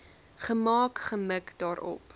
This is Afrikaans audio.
gemaak gemik daarop